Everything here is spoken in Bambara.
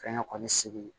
Fɛnkɛ kɔni segu